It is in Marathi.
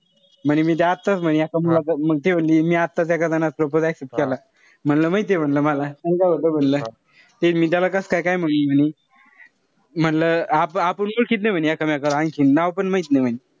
म्हणे मी त आताच म्हणे एका मुलाचं ती म्हणली मी आताच एका मुलाचा propose accept केला. म्हणलं माहितीय म्हणलं मला. मंग काय होत म्हणलं. ते मी कसंख्य त्याला काय म्हणू म्हणे. म्हणलं आपु ओळखीत नाई म्हणे एकमेकाला आणखीन. नाव पण माहित नाई म्हणे.